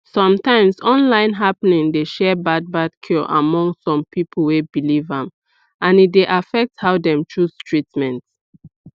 sometimes online happening dey share bad bad cure among some people wey believe am and e dey affect how dem chose treatment